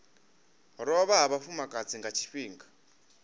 lovha ha vhafumakadzi nga tshifhinga